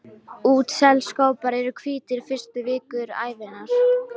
Útselskópar eru hvítir fyrstu vikur ævinnar.